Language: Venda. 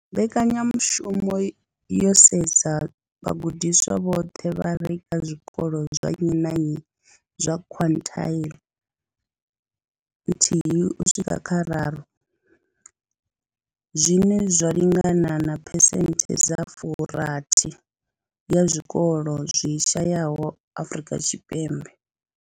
Mbekanyamushumo yo sedza vhagudiswa vhoṱhe vha re kha zwikolo zwa nnyi na nnyi zwa quintile nthihi uswika kha raru, zwine zwa lingana na phesenthe dza fu rathi ya zwikolo zwi shayesaho Afrika Tshipembe.